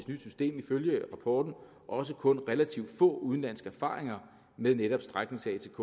nyt system ifølge rapporten også kun relativt få udenlandske erfaringer med netop stræknings atk